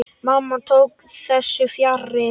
Mamma tók þessu fjarri.